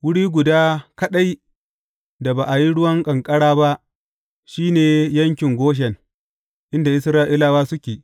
Wuri guda kaɗai da ba a yi ruwan ƙanƙara ba, shi ne yankin Goshen, inda Isra’ilawa suke.